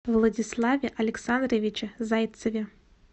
владиславе александровиче зайцеве